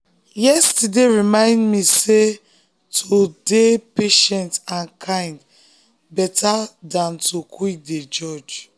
yesterday remind me sey to dey-dey patient and kind dey better than to quick dey judge.